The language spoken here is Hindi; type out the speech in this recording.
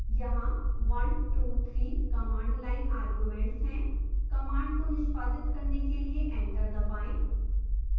यहाँ one two three command line arguments हैं